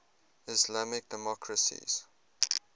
islamic democracies